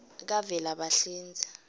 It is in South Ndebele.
kavelabahlinze